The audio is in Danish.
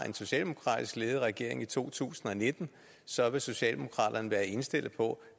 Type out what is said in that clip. en socialdemokratisk ledet regering i to tusind og nitten så vil socialdemokraterne være indstillet på